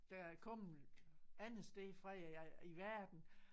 Der er kommet andre steder fra i verden